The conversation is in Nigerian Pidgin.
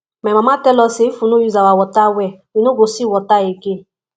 my mama tell us say if we no use our water well we no go see water again